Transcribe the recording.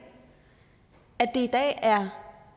er